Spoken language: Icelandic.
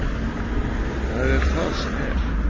Það er það sem er.